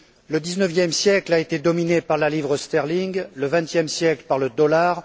Le dix neuvième siècle a été dominé par la livre sterling, le vingtième siècle par le dollar